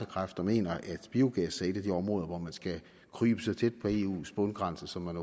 kræfter mener at biogas er et af de områder hvor man skal krybe så tæt på eus bundgrænse som man